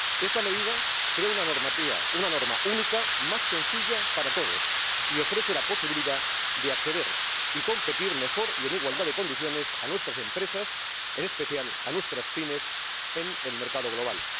Esta medida crea una norma única más sencilla para todos y ofrece la posibilidad de acceder y competir mejor y en igualdad de condiciones a nuestras empresas, en especial a nuestras PYME, en el mercado global.